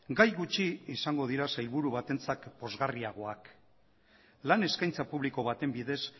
gai gutxi izango dira sailburu batentzat pozgarriagoak lan eskaintza publiko baten bidez